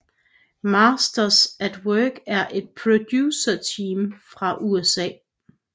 Masters At Work er et producerteam fra USA